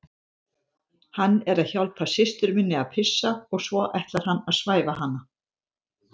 Hann er að hjálpa systur minni að pissa og svo ætlar hann að svæfa hana